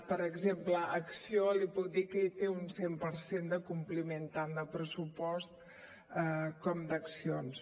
per exemple acció li puc dir que hi té un cent per cent de compliment tant de pressupost com d’accions